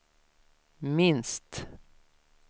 minst